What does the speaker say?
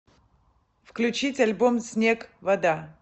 включить альбом снег вода